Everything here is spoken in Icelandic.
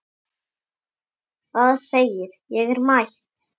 Það segir: Ég er mætt!